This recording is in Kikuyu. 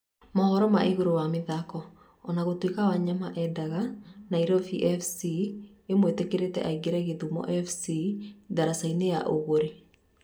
(Mauhoro ma igũrũ ma mathako) ona gũtũika Wanyama endaga Nairobi fc ĩmwĩtĩkĩrie aingĩre Gĩthumo fc diricainĩ ya ũgũri